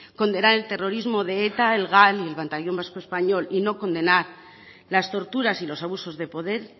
condenar el terrorismo de eta el gal y el batallón vasco español y no condenar las torturas y los abusos de poder